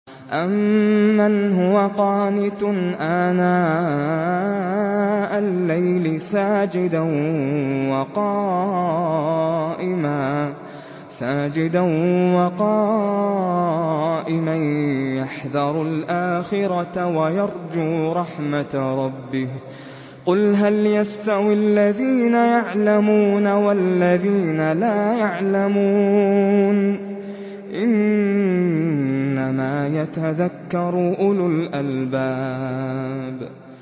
أَمَّنْ هُوَ قَانِتٌ آنَاءَ اللَّيْلِ سَاجِدًا وَقَائِمًا يَحْذَرُ الْآخِرَةَ وَيَرْجُو رَحْمَةَ رَبِّهِ ۗ قُلْ هَلْ يَسْتَوِي الَّذِينَ يَعْلَمُونَ وَالَّذِينَ لَا يَعْلَمُونَ ۗ إِنَّمَا يَتَذَكَّرُ أُولُو الْأَلْبَابِ